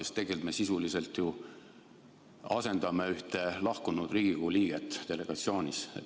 Sest tegelikult me sisuliselt ju asendame ühte lahkunud Riigikogu liiget delegatsioonis.